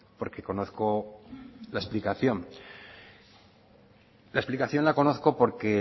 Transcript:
porque conozco la explicación la explicación la conozco porque